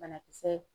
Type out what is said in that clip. Banakisɛ